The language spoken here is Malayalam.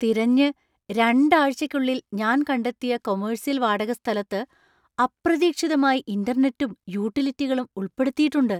തിരഞ്ഞ് രണ്ടാഴ്ചയ്ക്കുള്ളിൽ ഞാൻ കണ്ടെത്തിയ കൊമെഴ്സ്യല്‍ വാടകസ്ഥലത്ത് അപ്രതീക്ഷിതമായി ഇന്റർനെറ്റും, യൂട്ടിലിറ്റികളും ഉൾപ്പെടുത്തിയിട്ടുണ്ട്.